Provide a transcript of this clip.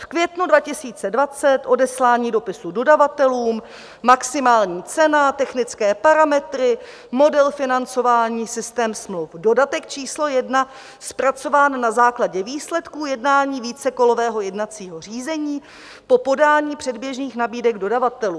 V květnu 2020 odeslání dopisu dodavatelům, maximální cena, technické parametry, model financování, systém smluv, dodatek číslo 1 zpracován na základě výsledků jednání vícekolového jednacího řízení po podání předběžných nabídek dodavatelů.